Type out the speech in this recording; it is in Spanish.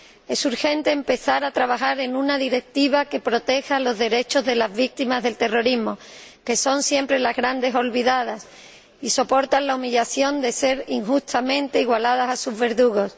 Es urgente empezar a trabajar en una directiva que proteja los derechos de las víctimas del terrorismo, que son siempre las grandes olvidadas y soportan la humillación de ser injustamente igualadas a sus verdugos.